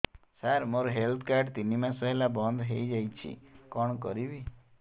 ସାର ମୋର health card ତିନି ମାସ ହେଲା ବନ୍ଦ ହେଇଯାଇଛି କଣ କରିବି